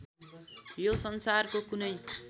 यो संसारको कुनै